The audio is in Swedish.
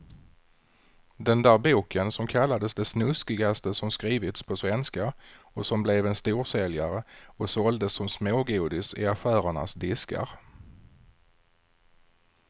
Den där boken som kallades det snuskigaste som skrivits på svenska och som blev en storsäljare och såldes som smågodis i affärernas diskar.